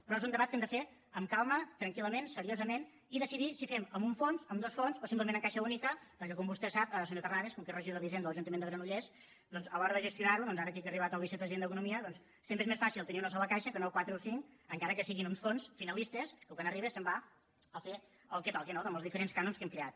però és un debat que hem de fer amb calma tranquil·lament seriosament i decidir si fem amb un fons amb dos fons o simplement amb caixa única perquè com vostè sap senyor terrades com que és regidor d’hisenda a l’ajuntament de granollers doncs a l’hora de gestionar ho ara aquí que ha arribat el vicepresident d’economia sempre és més fàcil tenir una sola caixa que no quatre o cinc encara que siguin uns fons finalistes que quan arriba se’n va a fer el que toca no amb els diferents cànons que hem creat